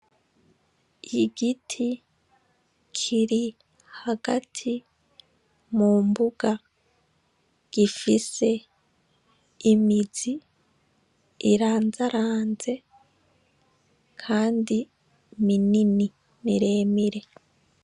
Igiti kiri hagati mu mbuga gifise imizi irandaranze, kandi minini miremire.